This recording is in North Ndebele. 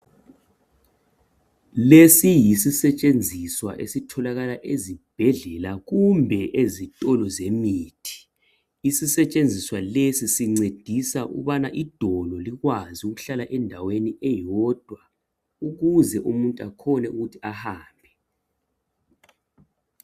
Lesi yisisentshenziswa esitholakala ezibhedlela kumbe ezitolo zemithi. Isentshenziswa lesi sincedisa ukubana idolo likwazi ukuthi lihlale endaweni eyodwa ukuze umuntu akhone ukuthi ahambe.